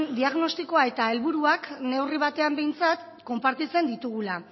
diagnostikoa eta helburuak neurri batean behintzat konpartitzen ditugula